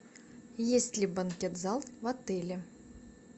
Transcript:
есть ли банкет зал в отеле